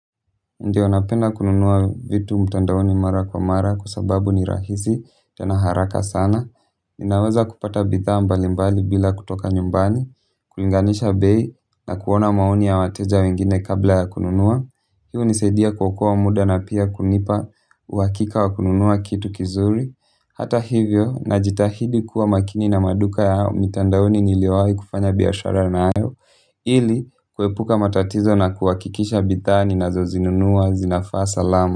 Ndio napena kununua vitu mtandaoni mara kwa mara kwa sababu ni rahisi tena haraka sana. Ninaweza kupata bidhaa mbali mbali bila kutoka nyumbani, kulinganisha bei na kuona maoni ya wateja wengine kabla ya kununua. Hii hunisaidia kuokoa muda na pia kunipa uhakika wa kununua kitu kizuri. Hata hivyo najitahidi kuwa makini na maduka ya mtandaoni niliyowahi kufanya biashara nayo. Ili kuepuka matatizo na kuhakikisha bidhaa ninazo zinunua zinafaa salama.